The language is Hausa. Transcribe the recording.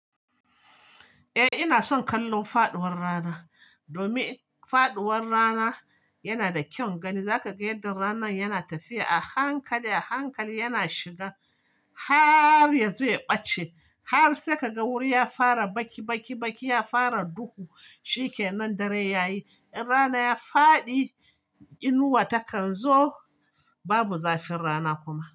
Eh ina son kallon faduwar rana, domin faduwar rana yana da kyaun gani. Zaka ga yadda ranan yana tafiya a hankali a hankali yana shiga har ya zo ya ɓace. Har sai ka ga wuri ya fara baki baki baki ya fara duhu shikenan dare yayi. In rana ya faɗi, inuwa takan zo babu zafin rana kuma.